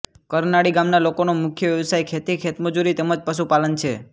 કરનાળી ગામના લોકોનો મુખ્ય વ્યવસાય ખેતી ખેતમજૂરી તેમ જ પશુપાલન છે